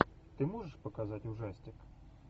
ты можешь показать ужастик